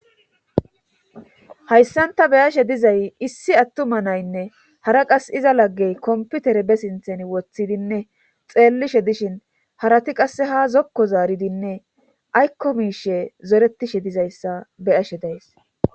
hayssan ta beyashe dizay issi attuma naynne hara qas iza laggey komputere be sinthen woththidinne xeellishe dishin harati qasse ha zokko zaaridinne aykko miishe zoretishe dizayssa beyashe days